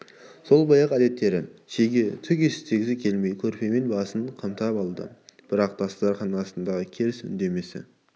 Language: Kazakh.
сол баяғы әдеттері шеге түк естігісі келмей көрпемен басын қымтап алды бірақ дастарқан басындағы керіс үдемесе